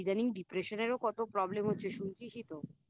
আর ইদানিং Depression এরও তো কত প্রব্লেম হচ্ছে শুনছিসই তো